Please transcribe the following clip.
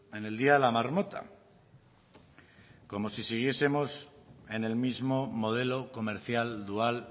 en el día de la marmota como si siguiesemos en el mismo modelo comercial dual